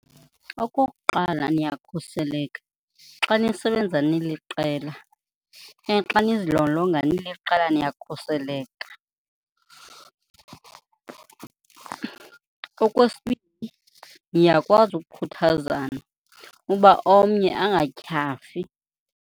Okokuqala, niyakhuseleke xa nisebenza niliqela okanye xa nizilolonga niliqela niyakhuseleka. Okwesibini, niyakwazi ukukhuthazana uba omnye angatyhafi.